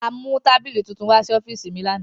A mu tabili tuntun wa si ọfiisi mi lana.